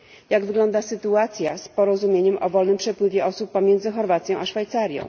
Jak wygląda sytuacja z porozumieniem o wolnym przepływie osób pomiędzy Chorwacją a Szwajcarią?